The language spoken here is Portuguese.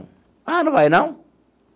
Ah, não vai, não?